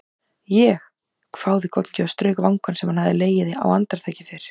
Ég?! hváði Goggi og strauk vangann sem hann hafði legið á andartaki fyrr.